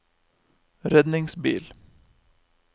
redningsbil